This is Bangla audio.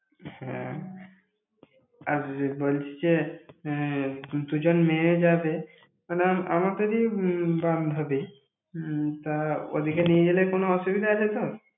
হ্যাঁ, আর বলছি যে এর দুজন মেয়ে যাবে মানে, আমা~ আমাদেরই উম বান্ধবী উম ওদেরকে নিয়ে গেলে কোনো অসুবিধা আছে তোর?